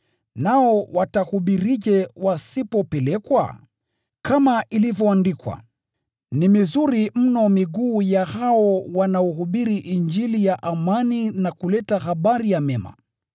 Nao watahubirije wasipopelekwa? Kama ilivyoandikwa, “Tazama jinsi ilivyo mizuri miguu yao wale wanaohubiri habari njema!”